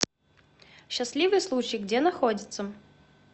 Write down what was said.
счастливый случай где находится